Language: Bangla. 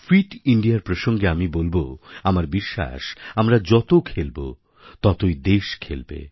ফিট ইন্দিয়ার প্রসঙ্গে আমি বলব আমার বিশ্বাস আমরা যত খেলবো ততই দেশ খেলবে